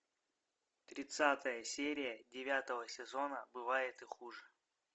тридцатая серия девятого сезона бывает и хуже